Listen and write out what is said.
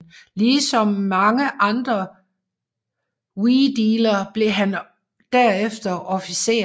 Ligesom mange andre Wedeler blev han derefter officer